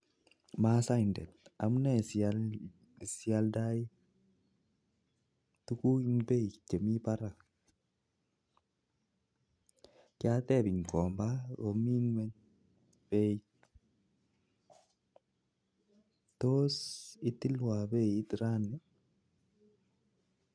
Masaindet amunee sialdei tukuk eng beit nemi barak, kyatep eng kikombaa komii ngwony, tos itilwa beit raini